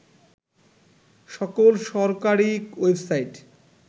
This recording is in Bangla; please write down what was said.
সকল সরকারি ওয়েবসাইট